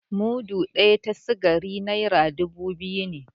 Mudu ɗaya ta sikari naira dubu biyu ne